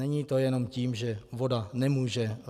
Není to jenom tím, že voda nemůže...